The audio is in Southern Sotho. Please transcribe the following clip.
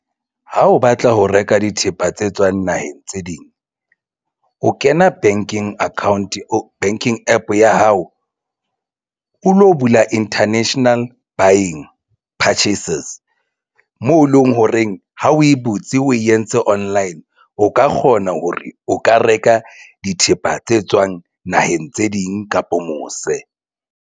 Ha o batla ho reka dithepa tse tswang naheng tse ding o kena banking account o banking APP ya hao o lo bula international buying purchases moo eleng horeng ha o e butse o entse online o ka kgona hore o ka reka dithepa tse tswang naheng tse ding kapa mose.